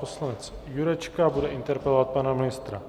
Poslanec Jurečka bude interpelovat pana ministra